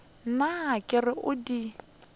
nna ke re o di